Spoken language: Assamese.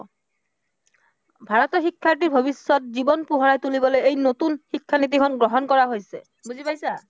ভাৰতৰ শিক্ষাৰ্থীৰ ভৱিষ্য়ত জীৱন পোহৰাই তুলিবলৈ এই নতুন শিক্ষানীতিখন গ্ৰহণ কৰা হৈছে, বুজি পাইছা?